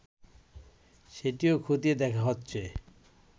সেটিও খতিয়ে দেখা হচ্ছে